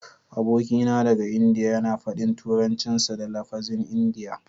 Abokina daga Indiya yana faɗin Turancinsa da lafazin Indiya.